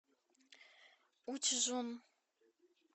учжун